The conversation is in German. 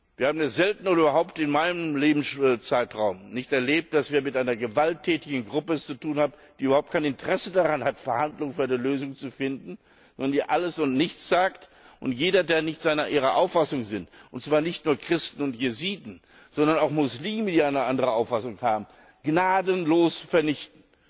Wir haben es selten oder in meinem Lebenszeitraum überhaupt nicht erlebt, dass wir es mit einer gewalttätigen Gruppe zu tun haben, die überhaupt kein Interesse daran hat, Verhandlungen über eine Lösung zu führen, sondern die alles und nichts sagt und jeden, der nicht ihrer Auffassung ist und zwar nicht nur Christen und Jesiden, sondern auch Muslime, die eine andere Auffassung haben gnadenlos vernichtet.